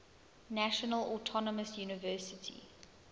national autonomous university